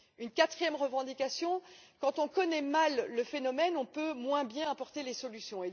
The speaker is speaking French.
Une quatrième revendication quand on connaît mal le phénomène, on peut moins bien apporter les solutions.